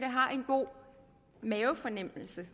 har en god mavefornemmelse